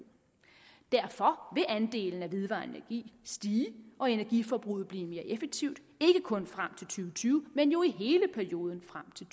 derfor vil andelen af vedvarende energi stige og energiforbruget blive mere effektivt ikke kun frem til tyve men jo i hele perioden frem til